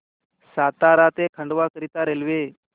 सातारा ते खंडवा करीता रेल्वे